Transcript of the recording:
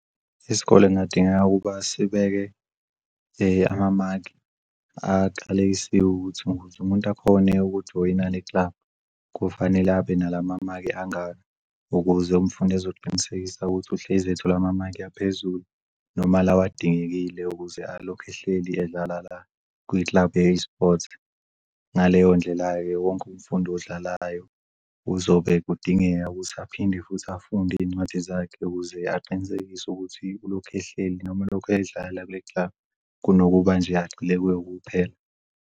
Isikole kungadingeka ukuba sibeke amamaki akalekisiwe ukuthi ukuze umuntu akhone ukujoyina le-club kufanele abe nalamamaki angaka ukuze umfundi ezoqinisekisa ukuthi uhlezi ethola amamaki aphezulu noma lawa adingekile ukuze alokhe ehleli edlala la kwi-club ye-sport. Ngaleyo ndlela-ke wonke umfundi odlalayo uzobe kudingeka ukuthi aphinde futhi afunde iy'ncwadi zakhe ukuze aqinisekise ukuthi ulokhu ehleli nomulokhu edlala kule-club. Kunokuba agxile nje kuye kuphela.